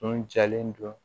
Kun jalen don